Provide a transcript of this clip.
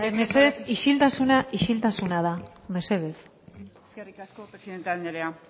mesedez isiltasuna isiltasuna da mesedez eskerrik asko presidente anderea